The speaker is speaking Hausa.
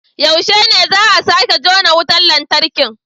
Yaushe ne za a sake jona wutar lantarki?